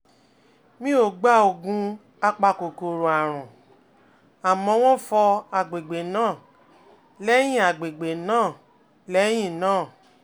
mi ò gba oògùn apakòkòrò àrùn, àmọ́ wón fọ àgbègbè náà lẹ́yìn àgbègbè náà lẹ́yìn náà